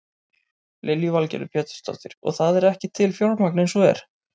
Lillý Valgerður Pétursdóttir: Og það er ekki til fjármagn eins og er?